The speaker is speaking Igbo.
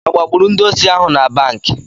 Agbagburu ndị osi ahụ na banki?